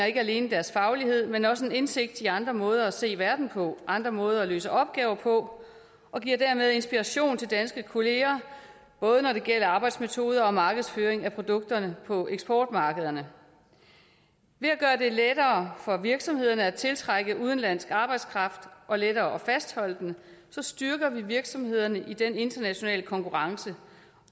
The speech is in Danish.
ikke alene deres faglighed men også en indsigt i andre måder at se verden på og andre måder at løse opgaver på og de giver dermed inspiration til danske kollegaer både når det gælder arbejdsmetoder og markedsføring af produkterne på eksportmarkederne ved at gøre det lettere for virksomhederne at tiltrække udenlandsk arbejdskraft og lettere at fastholde den styrker vi virksomhederne i den internationale konkurrence